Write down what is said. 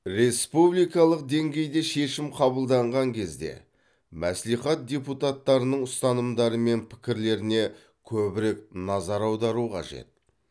республикалық деңгейде шешім қабылданған кезде мәслихат депутаттарының ұстанымдары мен пікірлеріне көбірек назар аудару қажет